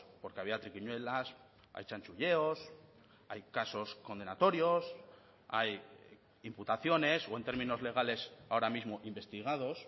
porque había triquiñuelas hay chanchulleos hay casos condenatorios hay imputaciones o en términos legales ahora mismo investigados